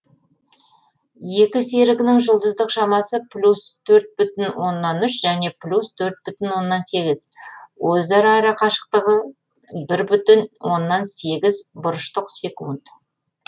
екі серігінің жұлдыздық шамасы плюс төрт бүтін оннан үш және плюс төрт бүтін оннан сегіз өзара арақашықтығы бір бүтін оннан сегіз бұрыштық секунд